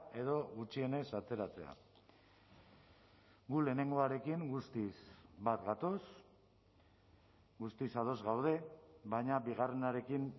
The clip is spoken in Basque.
edo gutxienez ateratzea gu lehenengoarekin guztiz bat gatoz guztiz ados gaude baina bigarrenarekin